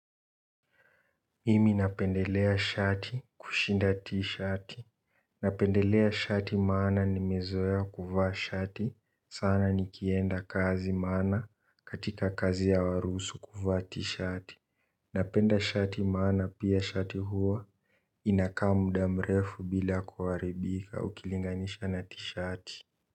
Mimi napendelea shati kushinda t-shati. Napendelea shati maana nimezoea kuvaa shati sana nikienda kazi maana katika kazi ya hawaruhusu kuvaa t-shati. Napenda shati maana pia shati huwa inakaa muda mrefu bila kuharibika ukilinganisha na t-shati.